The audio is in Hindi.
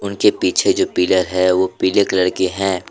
इनके पीछे जो पिलर है वो पीले के हैं।